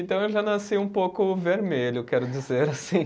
Então eu já nasci um pouco vermelho, quero dizer assim.